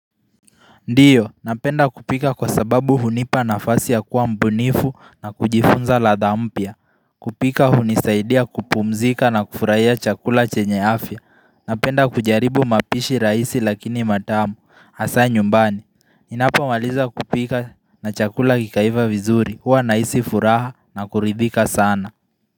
Ndiyo, napenda kupika kwa sababu hunipa nafasi ya kuwa mbunifu na kujifunza ladha mpya kupika hunisaidia kupumzika na kufurahia chakula chenye afya. Napenda kujaribu mapishi rahisi lakini matamu, hasa nyumbani Ninapmmaliza kupika na chakula kikaiva vizuri, huwa nahisi furaha na kuridhika sana.